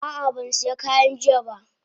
Ah ah ban siya kaya jiya ba.